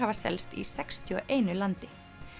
selst í sextíu og einu landi